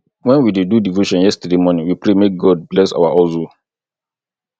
wen we dey do devotion yesterday morning we pray make god bless our hustle